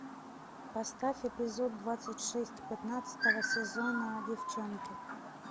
поставь эпизод двадцать шесть пятнадцатого сезона девченки